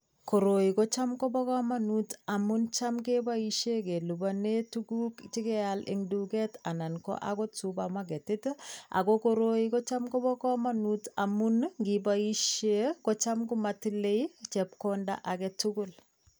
Koroi ko cham kobo kamanut amun cham keboisien kelipanen tuguk che keal eng duket anan ko agot supamaketit ii, ago koroi kocham koba kamanut amun ii ngiboisie kocham komatile ii chepkonda age tugul